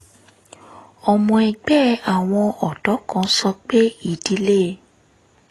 ọmọ ẹgbẹ́ àwọn ọ̀dọ́ kan sọ pé ìdílé